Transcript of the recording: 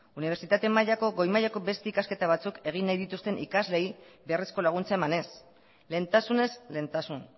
unibertsitate mailako goi mailako beste ikasketa batzuk egin nahi duten ikasleei beharrezko laguntza emanez lehentasunez lehentasun